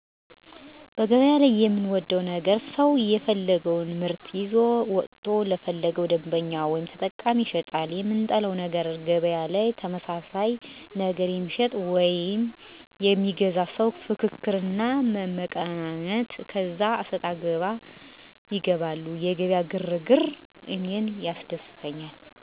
በገበያ ላይ የምወደው ነገር ሰው የፈለገወን ምርት ይዞ ወጥቶ ለፈለገው ደንበኛ ወይም ተጠቃሚ ይሸጣል። የምጠላው ነገር በገበያ ላይ ተመሳሳይ ነገር የሚሸጡ ወይም የሚገዙ ሰዎች ፍክክር እና መመቃቀን ከዚያ አሰጣገባ ይገባሉ። የገበያ ግር ግር እኔን ያስደስተኛል። በተለይ ዓመት በዓል ሲደረስ በጣም ደስ ይላል። ሀሉም በየራሱ የጎደለውን ለመሙላትና በዓልን ለማሳለፍ ያለ ግር ግር በተለይ የገጠሩ ማህበረሰብ እህል ወይም የቤት እንስሳት ሸጦ የዓመት በዓል የሚሆነውን ነገር ለመግዛት ሲሯሯጥ ስታይ ደስ ይላል። በሱፐር ማርኬት ያሉ ዋጋዎች ብዙም ተጠቃሚ አይደለሁም ግን ከሰማሁት አንጻር ጥሩ ምርቶች ይሸጡበታል ዋጋውም ከጉሊት ይወደዳል ብለውኛል የሚጠቀሙ ሰዎች። ሱፐር ማርኬት ውስጥ የሚሸጥ ነገር ዋጋው ቢቀንስ ደስ ይለኛል እኔም ተጠቃሚ እሆናለሁ።